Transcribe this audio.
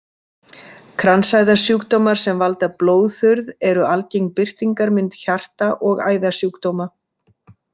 Kransæðasjúkdómar sem valda blóðþurrð eru algeng birtingarmynd hjarta- og æðasjúkdóma.